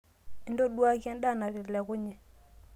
intoduaki endaa natelekunye